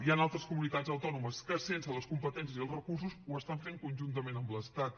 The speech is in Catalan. hi han altres comunitats autònomes que sense les competències i els recursos ho estan fent conjuntament amb l’estat